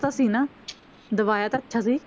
ਤਾਂ ਸੀ ਨਾ ਦਿਵਾਇਆ ਤਾਂ ਅੱਛਾ ਸੀ।